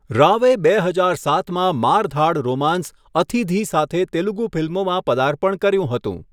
રાવે બે હજાર સાતમાં મારધાડ રોમાન્સ 'અથિધિ' સાથે તેલુગુ ફિલ્મોમાં પર્દાપણ કર્યું હતું.